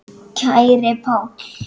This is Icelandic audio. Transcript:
Kæri Páll.